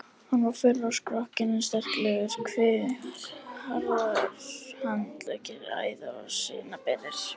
Hann var fölur á skrokkinn en sterklegur, kviðurinn harður, handleggir æða- og sinaberir.